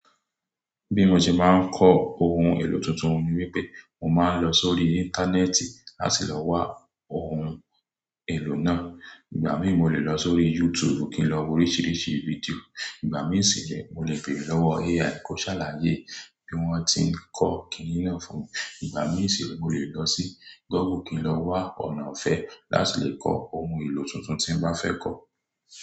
Bí mo ṣe máa ń kọ ohun èlò tuntun ni wípé, mo máa ń lọ sórí Íńtánẹ́ẹ̀tì láti lọ wa ohun èlò náà. Ìgbà mi ò lè lọ sórí YouTube kí n lọ wo oríṣiríṣi fídíò, ìgbà mí sì le mo lè béèrè lọ́wọ́ AI kó ṣàlàyé bí wọ́n ti ń kọ́ kìíní náà fún mi. Ìgbà mi sì le mo lè lọ sí Google kí n lọ wa ọ̀nà ọ̀fẹ́ láti lè kọ ohun èlò tuntun tí n bá fẹ́ kọ.